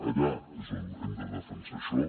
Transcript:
allà és on hem de defensar això